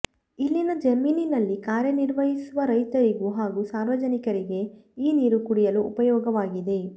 ಇಲ್ಲಿನ ಜಮೀನಿನಲ್ಲಿ ಕಾರ್ಯನಿರ್ವಹಿಸುವ ರೈತರಿಗೂ ಹಾಗೂ ಸಾರ್ವಜನಿಕರಿಗೆ ಈ ನೀರು ಕುಡಿಯಲು ಉಪಯೋಗವಾಗಿದೆ